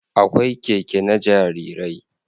Akwai Keke na jarirai